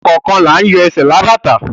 Ọ̀kọọkan laa ń yọ sẹ̀ lábátà